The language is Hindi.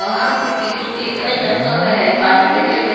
वहा पे टिशू पेपर रखा हुआ है पानी का जग है।